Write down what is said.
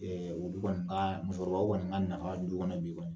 Ɛ olu kɔni b'a musokɔrɔbaw kɔni ka nafa du kɔnɔ b'i kɔni